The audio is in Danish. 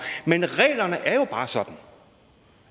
men reglerne er jo bare sådan